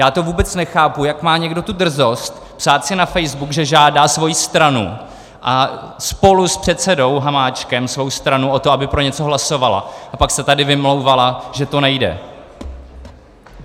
Já to vůbec nechápu, jak má někdo tu drzost psát si na facebook, že žádá svoji stranu a spolu s předsedou Hamáčkem svou stranu o to, aby pro něco hlasovala, a pak se tady vymlouvala, že to nejde.